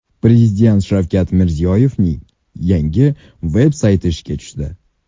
Prezident Shavkat Mirziyoyevning yangi veb-sayti ishga tushdi.